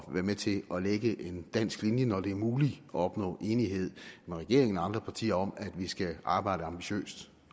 være med til at lægge en dansk linje når det er muligt at opnå enighed med regeringen og andre partier om at vi skal arbejde ambitiøst